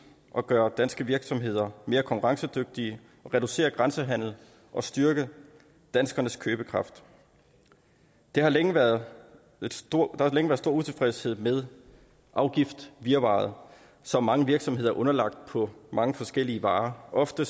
at gøre danske virksomheder mere konkurrencedygtige reducere grænsehandelen og styrke danskernes købekraft der har længe været stor utilfredshed med afgiftsvirvaret som mange virksomheder er underlagt på mange forskellige varer ofte